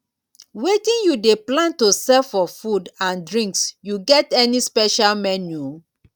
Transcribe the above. wetin you dey plan to serve for food and drinks you get any special menu?